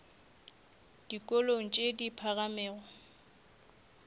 le dikolong tše di phagamego